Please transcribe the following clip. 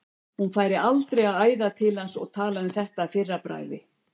Hún færi aldrei að æða til hans og tala um þetta að fyrra bragði.